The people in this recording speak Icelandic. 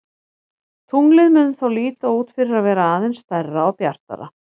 Tunglið mun þá líta út fyrir að vera aðeins stærra og bjartara.